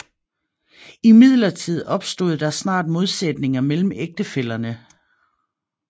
Imidlertid opstod der snart modsætninger mellem ægtefællerne